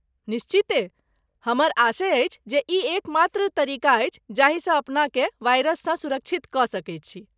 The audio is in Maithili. निश्चिते, हमर आशय अछि जे ई एकमात्र तरीका अछि जाहिसँ अपनाकेँ वायरससँ सुरक्षित कऽ सकैत छी।